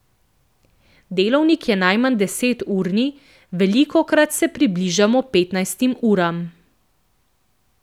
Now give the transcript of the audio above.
Delovnik je najmanj deseturni, velikokrat se bližamo petnajstim uram ...